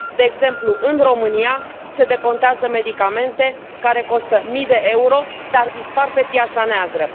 De exemplu, în România se decontează medicamente care costă mii de euro, dar dispar pe piața neagră.